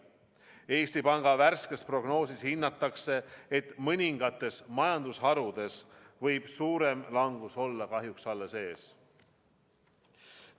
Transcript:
Eesti Panga värskes prognoosis hinnatakse, et mõningates majandusharudes võib suurem langus olla kahjuks alles ees.